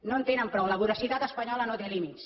no en tenen prou la voracitat espanyola no té límits